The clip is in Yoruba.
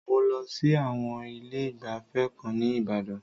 Mo lọ sí àwọn ilé ìgbafẹ́ kan ní Ìbàdan.